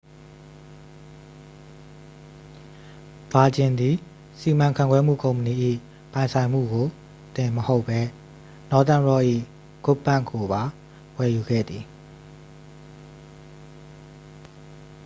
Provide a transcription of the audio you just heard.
ဗာဂျင်သည် စီမံခန့်ခွဲမှု ကုမ္ပဏီ၏ ပိုင်ဆိုင်မှုကိုတင်မဟုတ်ဘဲ nothern rock ၏ good bank' ကိုပါ ဝယ်ယူခဲ့သည်